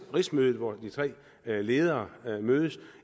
rigsmødet hvor de tre ledere mødes og